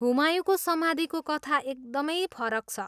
हुमायूँको समाधिको कथा एकदमै फरक छ।